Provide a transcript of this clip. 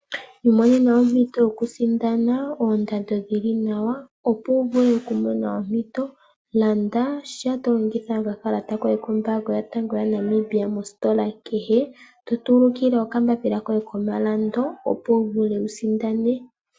Iimonena ompito yokusindana oondando dhili nawa, opo wuvule okumona ompito landasha tolongitha okakalata koye kombaanga yotango yaNamibia mositola kehe totulukile okambapila koye komalando opo wuvule okusindana.